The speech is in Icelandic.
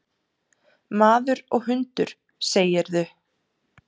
Maður og hundur, segirðu?